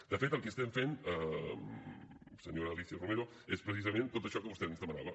de fet el que estem fent senyora alícia romero és precisament tot això que vostè ens demanava